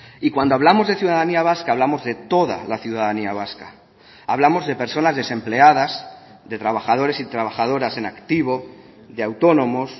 y cuando hablamos de ciudadanía vasca hablamos de toda la ciudadanía vasca hablamos de personas desempleadas de trabajadores y trabajadoras en activo de autónomos